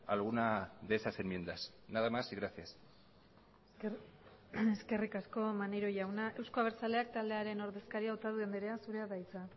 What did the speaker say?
alguna de esas enmiendas nada más y gracias eskerrik asko maneiro jauna euzko abertzaleak taldearen ordezkaria otadui andrea zurea da hitza